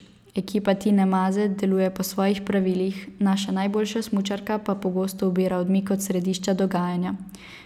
Ekipa Tine Maze deluje po svojih pravilih, naša najboljša smučarka pa pogosto ubira odmik od središča dogajanja.